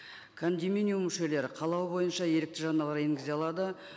кондоминиум мүшелері қалауы бойынша ерікті жарналар енгізе алады